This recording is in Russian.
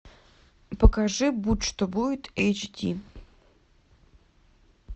покажи будь что будет эйч ди